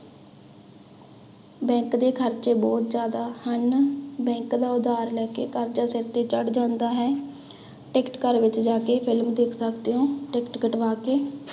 Bank ਦੇ ਖ਼ਰਚੇ ਬਹੁਤ ਜ਼ਿਆਦਾ ਹਨ bank ਦਾ ਉਧਾਰ ਲੈ ਕੇ ਕਰਜ਼ਾ ਸਿਰ ਤੇ ਚੜ੍ਹ ਜਾਂਦਾ ਹੈ, ਟਿੱਕਟ ਘਰ ਵਿੱਚ ਜਾ ਕੇ ਫਿਲਮ ਦੇਖ ਸਕਦੇ ਹੋ, ਟਿੱਕਟ ਕਟਵਾ ਕੇ।